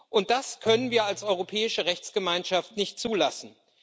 und das können wir als europäische Rechtsgemeinschaft nicht zulassen.